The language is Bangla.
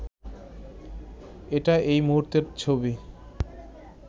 এটা এই মুহূর্তের ছবি